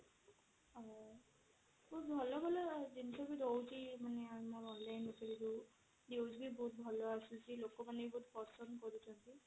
ବହୁତ ଭଲ ଭଲ ଜିନିଷ ରହୁଛି ଆମ online ଉପରେ ଯୋଉ news ବି ବହୁତ ଭଲ ଆସୁଛି ଲୋକମାନେ ବି ଭଲ ପସନ୍ଦ କରୁଛନ୍ତି